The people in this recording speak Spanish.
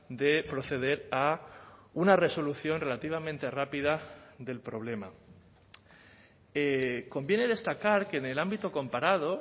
de proceder a una resolución relativamente rápida del problema conviene destacar que en el ámbito comparado